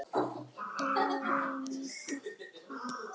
Skoðum þetta